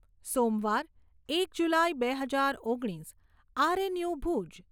સોમવાર, એક જુલાઈ બે હજાર ઓગણીસ આરએનયુ ભૂજ